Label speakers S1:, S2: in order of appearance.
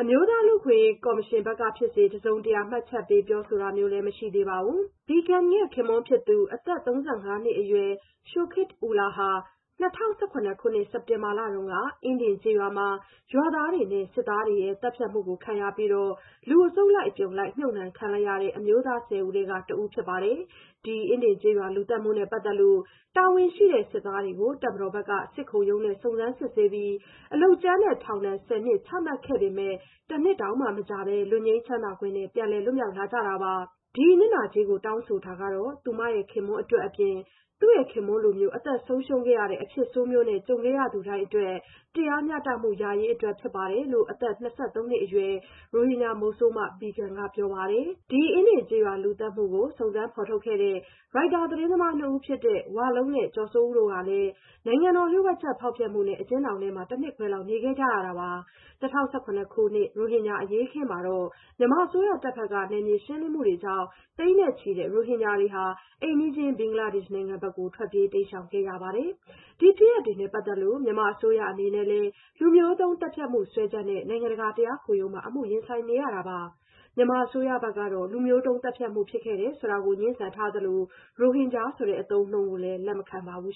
S1: အမျိုးသား လူ့အခွင့်အရေးကော်မရှင်ဘက်ကဖြစ်စေ တစုံတရာ မှတ်ချက်ပေး ပြောဆိုတာ မရှိသေးပါဘူး။ Begum ရဲ့ ခင်ပွန်းဖြစ်သူ အသက် ၃၅ နှစ်အရွယ် Shoket Ullah ဟာ ၂၀၁၇ ခုနှစ် စက်တင်ဘာတုန်းက အင်းဒင်ကျေးရွာမှာ ရွာသားတွေနဲ့ စစ်သားတွေရဲ့ သတ်ဖြတ်မှုခံရပြီး လူအစုလိုက်အပြုံလိုက် မြေမြှုပ်ခံလိုက်ရတဲ့ အမျိုးသား ၁၀ ဦးထဲက တဦးဖြစ်ပါတယ်။ အင်းဒင်ကျေးရွာ လူသတ်မှုနဲ့ ပတ်သက်လို့ တာဝန်ရှိတဲ့ စစ်သားတွေကို တပ်မတော်ဘက်က စစ်ခုံရုံးနဲ့ စုံစမ်းစစ်ဆေးပြီး အလုပ်ကြမ်းနဲ့ ထောင်ဒဏ် ၁၀ နှစ် ချမှတ်ခဲ့ပေမယ့် တနှစ်တောင်မကြာဘဲ လွတ်ငြိမ်းချမ်းသာခွင့်နဲ့ ပြန်လည်လွတ်မြောက်လာကြတာပါ။ ဒီနစ်နာကြေး တောင်းဆိုချက်ဟာ သူမခင်ပွန်းအတွက်အပြင် သူ့ရဲ့ခင်ပွန်းလိုမျိုး အသက်ဆုံးရှုံးခဲ့ရတဲ့ အဖြစ်ဆိုးမျိုး ကြုံခဲ့ရသူတိုင်းအတွက် တရားမျှတမှုရရေးအတွက် ဖြစ်တယ်လို့ အသက် ၂၃ နှစ်အရွယ် ရိုဟင်ဂျာမုဆိုးမ Begum က ပြောပါတယ်။ ဒီ အင်းဒင်ကျေးရွာလူသတ်မှုကို စုံစမ်းဖော်ထုတ်ခဲ့တဲ့ Reuters သတင်းသမားနှစ်ဦးဖြစ်တဲ့ ဝလုံးနဲ့ ကျော်စိုးဦးတို့ဟာလည်း နိုင်ငံတော်လျှို့ဝှက်ချက် ဖောက်ဖျက်မှုနဲ့ အကျဉ်းထောင်ထဲ တနှစ်ခွဲလောက် နေခဲ့ရပါတယ်။ ၂၀၁၇ ခုနှစ် ရိုဟင်ဂျာအရေးအခင်းမှာ မြန်မာအစိုးရတပ်ဘက်က နယ်မြေရှင်းလင်းရေးတွေကြောင့် သိန်းနဲ့ချီတဲ့ ရိုဟင်ဂျာတွေ အိမ်နီးချင်း ဘင်္ဂလားဒေ့ရှ်နိုင်ငံထဲ ထွက်ပြေးတိမ်းရှောင်ခဲ့ရပါတယ်။ ဒီဖြစ်ရပ်တွေနဲ့ပတ်သက်လို့ မြန်မာအစိုးရအနေနဲ့လည်း လူမျိုးတုံးသတ်ဖြတ်မှုစွဲချက်နဲ့ နိုင်ငံတကာ တရားခုံရုံးမှာ အမှုရင်ဆိုင်နေရပါတယ်။ မြန်မာအစိုးရဘက်ကတော့ လူမျိုးတုံးသတ်ဖြတ်မှု ဖြစ်ခဲ့တယ်ဆိုတာကို ငြင်းဆန်သလို ရိုဟင်ဂျာဆိုတဲ့ အသုံးအနှုန်းကိုလည်း လက်မခံပါဘူး